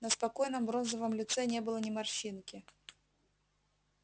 на спокойном бронзовом лице не было ни морщинки